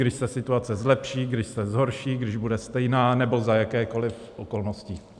Když se situace zlepší, když se zhorší, když bude stejná, nebo za jakýchkoli okolností?